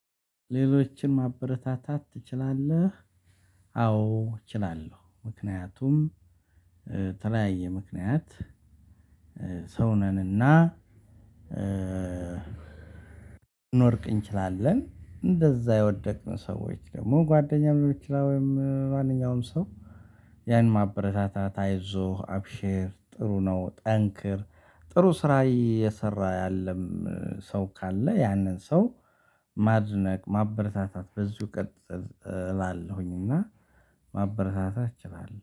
ሌሎችን ማበረታታት ትችላለህ? አዎ፣ እችላለሁ ምክንያቱም በተለያየ ምክንያት ሰው ነንና ልንወድቅ እንችላለን እንደዛ የወደቅን ሰዎች ደግሞ ጓደኛም እምትለው ወይም ማንኛውም ሰው ያን ማበረታታት አይዞህ፣ አብሼር፣ ጥሩ ነው፣ ጠንክር፣ ጥሩ ስራ የሰራ ያለም ሰው ካለ ያንን ሰው ማድነቅ፣ ማበረታታት በዚህ ቀጥል እላለሁኝ እና ማበረታታት እችላለሁ።